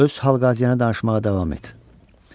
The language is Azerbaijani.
Öz hal-qəziyyəni danışmağa davam et.